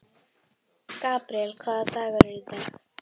Gabríel, hvaða dagur er í dag?